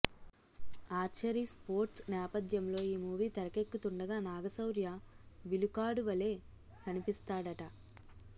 archery sports నేపథ్యంలో ఈ movie తెరకెక్కుతుండగా నాగ శౌర్య విలుకాడు వలె కనిపిస్తాడట